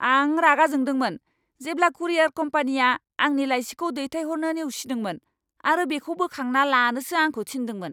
आं रागा जोंदोंमोन जेब्ला कुरियार कम्पानिया आंनि लाइसिखौ दैथायहरनो नेवसिदोंमोन आरो बेखौ बोखांना लानोसो आंखौ थिन्दोंमोन!